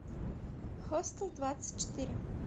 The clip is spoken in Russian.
хостел двадцать четыре